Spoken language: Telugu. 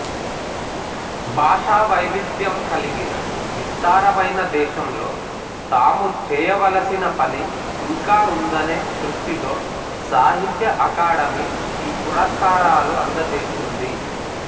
భాషావైవిధ్యం కలిగిన విస్తారమైన దేశంలో తాము చేయవలిసిన పని ఇంకా ఉందనే దృష్టితో సాహిత్య అకాడమీ ఈ పురస్కారాలు అందజేస్తోంది